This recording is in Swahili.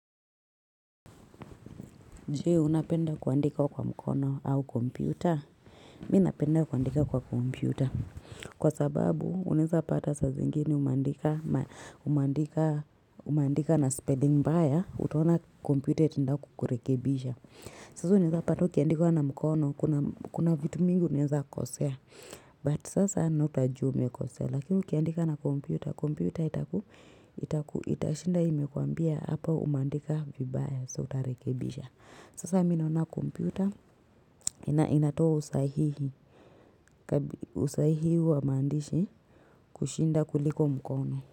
Je? Unapenda kuandika kwa mkono au komputa? Mimi napenda kuandika kwa kompyuta. Kwa sababu, unaweza pata saa zingine umeandika na spelling mbaya, utaona komputer itaenda kukurekebisha. Sasa, unaweza pata ukiandika na mkono, kuna vitu mingi unaweza kosea. But, sasa, anaota aje umekosea. Lakini, ukiandika na kompyuta, kompyuta itaku, itashinda imekwambia hapa umeandika vibaya so utarekebisha. Sasa minaona kompyuta inatoa usahihi wa maandishi kushinda kuliko mkono.